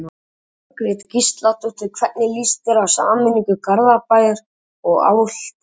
Jóhanna Margrét Gísladóttir: Hvernig lýst þér á sameiningu Garðabæjar og Álftanes?